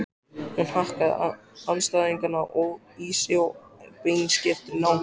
Hún hakkaði andstæðingana í sig af beinskeyttri nákvæmni.